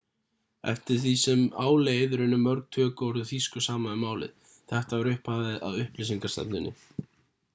eftir því sem á leið runnu mörg tökuorð úr þýsku saman við málið þetta var upphafið að upplýsingarstefnunni